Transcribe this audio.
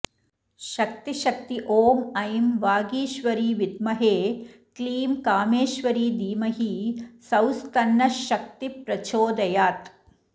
शक्ति शक्ति ॐ ऐं वागीश्वरि विद्महे क्लीं कामेश्वरि धीमहि सौस्तन्नः शक्तिः प्रचोदयात्